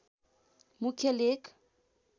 मुख्य लेख